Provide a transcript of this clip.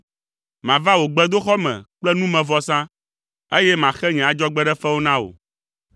Mava wò gbedoxɔ me kple numevɔsa, eye maxe nye adzɔgbeɖefewo na wò,